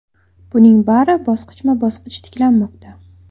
Buning bari bosqichma-bosqich tiklanmoqda.